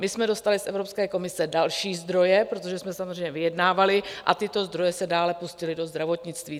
My jsme dostali z Evropské komise další zdroje, protože jsme samozřejmě vyjednávali, a tyto zdroje se dále pustily do zdravotnictví.